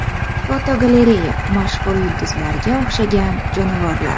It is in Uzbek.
Fotogalereya: Mashhur yulduzlarga o‘xshagan jonivorlar.